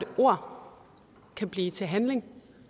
ord kan blive til handling